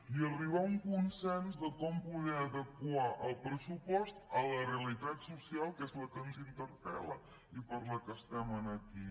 i arribar a un consens de com poder adequar el pressupost a la realitat social que és la que ens interpel·la i per la que estem aquí